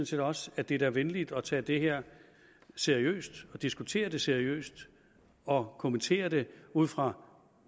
set også at det er venligt at tage det her seriøst og diskutere det seriøst og kommentere det ud fra